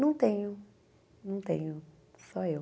Não tenho, não tenho, só eu.